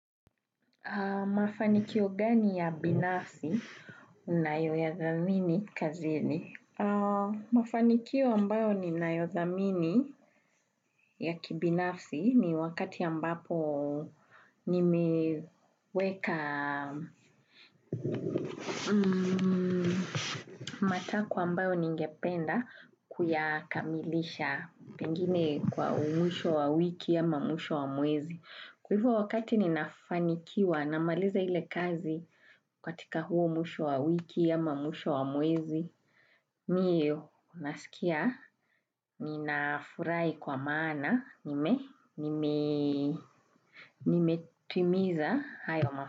Mafanikio gani ya binafsi unayo ya thamini kazini? Mafanikio ambayo ni nayo thamini ya kibinafsi ni wakati ambapo ni meweka matako ambayo ningependa kuyakamilisha pengine kwa mwisho wa wiki ama mwisho wa mwezi. Kwa hivyo wakati ninafanikiwa, namaliza hile kazi katika huo mwisho wa wiki ama mwisho wa mwezi, mi huwa nasikia, ninafurai kwa maana, nime, nime, nime timiza hayo mafu.